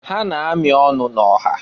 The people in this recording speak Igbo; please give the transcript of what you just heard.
Ha na-amị ọnụ na-ọha.